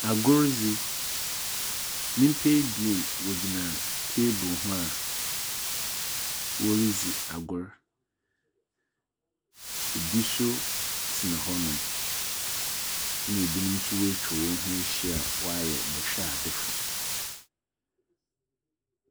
Agordzi, nnipa abien wogyina table ho a woredzi agor. Ebi nso tena hɔnom. Ɛna binom nso wɔatwa hɔn ho ahyia a wɔayɛ bɔhweadzefo.